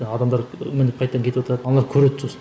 адамдар мініп қайтадан кетіватады аналар көреді сосын